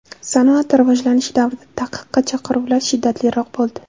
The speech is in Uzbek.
Sanoat rivojlanishi davrida taqiqqa chaqiruvlar shiddatliroq bo‘ldi.